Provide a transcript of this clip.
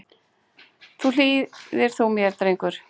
Nú hlýðir þú mér, drengur.